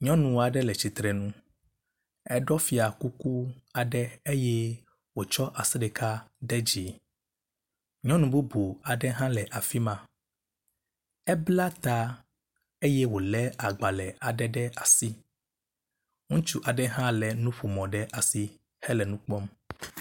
Nyɔnu aɖe le tsitre nu, eɖɔ fiakuku aɖe eye wòtsɔ asi ɖeka ɖe dzi, nyɔnu bubu aɖe hã le ai ma, ebla ta eye wòlé agbalẽ aɖe ɖe asi. Ŋutsu aɖe hã lé nuƒomɔ ɖe asi.